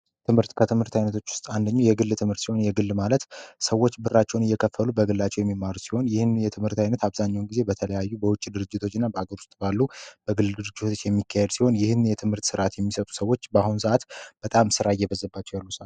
ትምህርት ከትምህርት አይነቶች ውስጥ አንደኛው የግል ትምህርት ሲሆን፤ የግል ማለት ሰዎች ብራቸውን እየከፈቱ በግላቸው የሚማሩ ሲሆን፤ ይህም የትምህርት ዓይነት አብዛኛውን ጊዜ በተለያዩ በውጭ ድርጅቶች እና በአገር ውስጥ ባሉ በግል ድርጅቶች የሚካሄድ ሲሆን ይህን የትምህርት ስርዓት የሚሰጡ ሰዎች በአሁን ሰዓት በጣም ስራ እየበዛባቸው ያሉ ሰአት ነው።